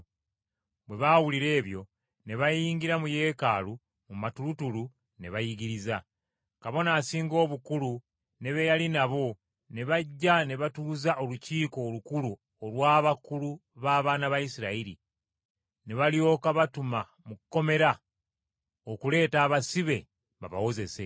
Bwe baawulira ebyo ne bayingira mu Yeekaalu mu matulutulu, ne bayigiriza. Kabona Asinga Obukulu ne be yali nabo ne bajja ne batuuza Olukiiko Olukulu olw’abakulu b’abaana ba Isirayiri, ne balyoka batuma mu kkomera okuleeta abasibe babawozese.